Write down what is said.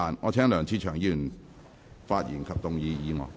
我請梁志祥議員發言及動議議案。